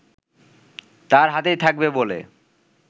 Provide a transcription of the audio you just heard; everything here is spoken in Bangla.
তার হাতেই থাকবে বলে